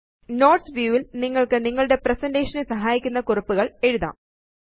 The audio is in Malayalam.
നോട്ട്സ് വ്യൂ ല് നിങ്ങള്ക്ക് നിങ്ങളുടെ പ്രസന്റേഷൻ നെ സഹായിക്കുന്ന കുറിപ്പുകള് എഴുതാം